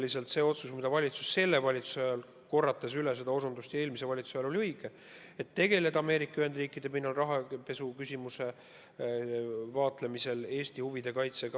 Kas see otsus, mille praegune valitsus tegi, oli põhimõtteliselt õige – see, et tegeleda Ameerika Ühendriikide pinnal rahapesuküsimuse vaatlemisel Eesti huvide kaitsega?